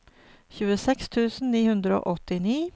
tjueseks tusen ni hundre og åttini